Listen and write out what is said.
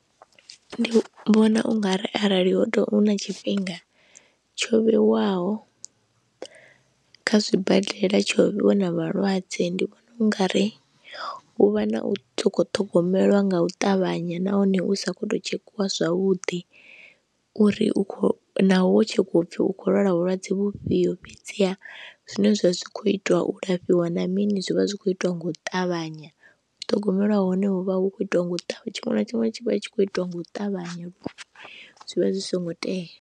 Ndi vhona u nga ri arali ho tou, hu na tshifhinga tsho vhewaho kha zwibadela, tsho vhona vhalwadze, ndi vhona u nga ri hu vha na u sa khou ṱhogomelwa nga u ṱavhanya nahone hu sa khou tou tshekhiwa zwavhuḓi uri u khou, naho wo tshekhiwa u pfhi u khou lwala vhulwadze vhufhio fhedziha zwine zwav ha zwi khou itwa u lafhiwa na mini zwi vha zwi khou itiwa nga u ṱavhanya, u ṱhogomelwa hone hu vha hu khou itiwa nga u ṱavha, tshiṅwe na tshiṅwe tshi vha tshi khou itiwa nga u ṱavhanya zwi vha zwi songo tea.